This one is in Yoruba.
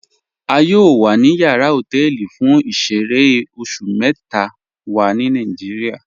A yọọ wa ni yàrà họtẹlì fún ìṣẹ̀rẹ̀ oṣù mẹta wa ni Nàìjíríà.